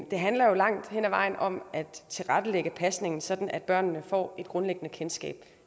det handler jo langt hen ad vejen om at tilrettelægge pasningen sådan at børnene får et grundlæggende kendskab